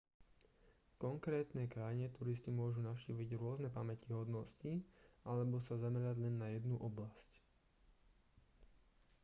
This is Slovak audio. v konkrétnej krajine turisti môžu navštíviť rôzne pamätihodnosti alebo sa zamerať len na jednu oblasť